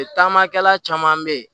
Taamakɛla caman bɛ yen